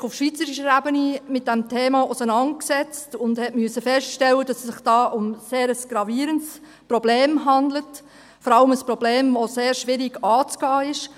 Die EVP hat sich auf schweizerischer Ebene mit diesem Thema auseinandergesetzt und musste feststellen, dass es sich dabei um ein sehr gravierendes Problem handelt, vor allem um ein Problem, das schwierig anzugehen ist.